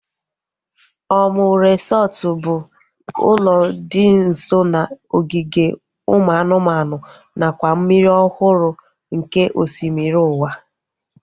Omu resọtu bụ ụlọ dị nso n'ogige ụmụ anụmanụ nakwa mmiri ọhụrụ nke osimiri ụwa